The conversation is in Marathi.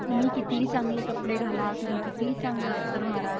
तुम्ही कितीही चांगले कपडे घाला तुम्ही कितीही चांगल अत्तर मारा.